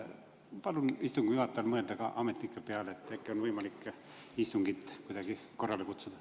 Palun istungi juhatajal mõelda ka ametnike peale, äkki on võimalik istungit kuidagi korrale kutsuda.